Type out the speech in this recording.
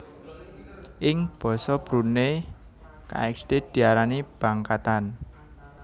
Ing basa Brunei kxd diarani bangkatan